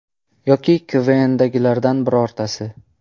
Yoki ‘KVN’dagilardan birortasi.